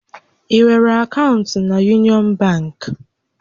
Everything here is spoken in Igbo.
Ị nwere akaụntụ na Yunịọn bankị?